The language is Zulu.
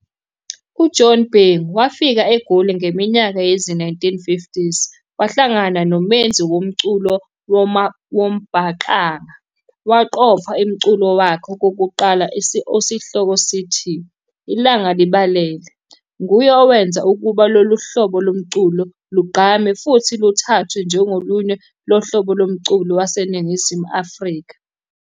UJohjn Bhengu wafika eGoli ngeminyaka yezi-1950s wahlangana nomenzi womculo wombhaqanga waqopha imculo wakhe okokuqala osihloko sithi, "Ilanga Libalele"'. Nguye owenza ukuba lolu hlobo lomculo luqgame futhi luthathwe njengolunye lohlobo lomculo waseNingizimu Afrika.